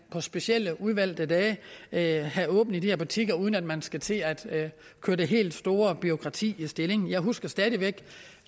på specielle udvalgte dage kan have åbent i de her butikker uden at man skal til at køre det helt store bureaukrati i stilling jeg husker stadig væk